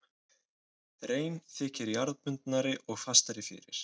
Rein þykir jarðbundnari og fastari fyrir.